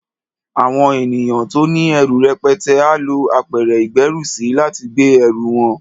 Àwọn ènìyàn tó ní ẹrù rẹpẹtẹ á lo apẹ̀rẹ̀ ìgbérùsí, láti gbé ẹrù wọn.